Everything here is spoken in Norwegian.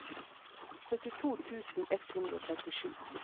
syttito tusen ett hundre og trettisju